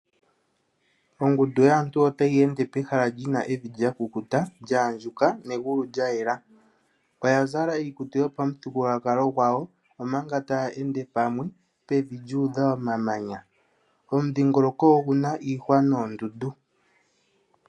Ongundu yaantu otayi ende pehala li na evi lya kukuta, lya andjuka negulu lya yela. Oya zala iikutu yopamuthigululwakalo gwawo omanga taya ende pamwe pevi lyu udha omamanya. Omudhingoloko ogu na iihwa noondundu.